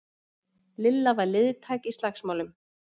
Lilla var liðtæk í slagsmálum.